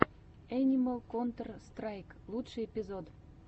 энимал контэр страйк лучший эпизод